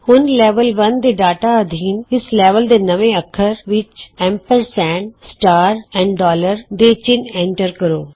ਹੁਣ ਲੈਵਲ 1 ਦੇ ਡਾਟਾ ਅਧੀਨ ਇਸ ਲੈਵਲ ਦੇ ਨਵੇਂ ਅੱਖਰ ਵਿਚਐਮਪਰਸੰਡ ਸਿਤਾਰਾ ਅਤੇ ਡੋਲਰ ਏਐਮਪੀ ਦੇ ਚਿੰਨ੍ਹ ਐਂਟਰ ਕਰੋ